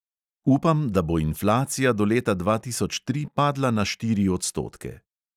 "Upam, da bo inflacija do leta dva tisoč tri padla na štiri odstotke."